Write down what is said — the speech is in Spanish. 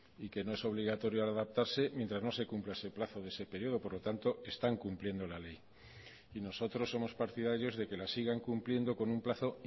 y que no es obligatorio adaptarse mientras no se cumpla ese plazo de ese periodo por lo tanto están cumpliendo la ley y nosotros somos partidarios de que la sigan cumpliendo con un plazo